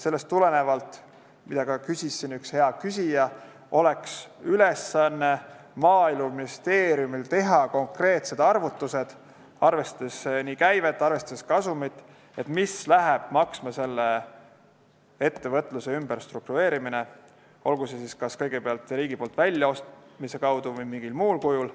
Sellest tulenevalt – seda ütles ka üks küsija siin – oleks Maaeluministeeriumi ülesanne teha konkreetsed arvutused, arvestades nii käivet kui ka kasumit, mida läheb maksma nende ettevõtete ümberstruktureerimine, olgu siis kas kõigepealt riigi poolt väljaostmise kaudu või mingil muul kujul.